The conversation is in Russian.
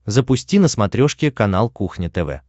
запусти на смотрешке канал кухня тв